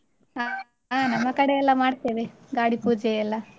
ಹ, ಹ ನಮ್ಮ ಕಡೆಯೆಲ್ಲಾ ಮಾಡ್ತೇವೆ, ಗಾಡಿ ಪೂಜೆಯೆಲ್ಲಾ.